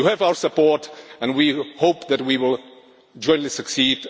value. You have our support and we hope that we will jointly